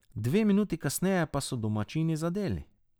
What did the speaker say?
Dve minuti kasneje pa so domači zadeli.